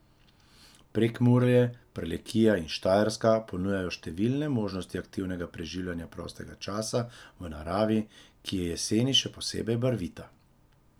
Prekmurje, Prlekija in Štajerska ponujajo številne možnosti aktivnega preživljanja prostega časa v naravi, ki je jeseni še posebej barvita.